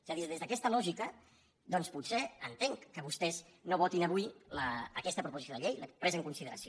és a dir des d’aquesta lògica doncs potser entenc que vostès no votin avui aquesta proposició de llei la presa en consideració